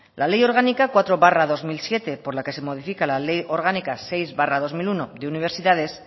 la ley orgánica cuatro barra dos mil siete por la que se modifica la ley orgánica seis barra dos mil uno de universidades